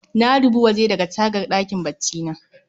Na dubi waje daga tagar ɗakin baccina